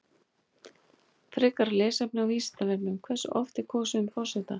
Mars er áberandi á himninum skammt frá Sjöstirninu.